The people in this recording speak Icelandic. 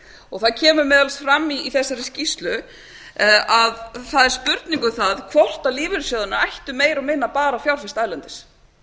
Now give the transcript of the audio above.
og það kemur meðal annars fram í þessari spurningu að það er spurning um það hvort lífeyrissjóðirnir ættu meira og minna bara að fjárfesta erlendis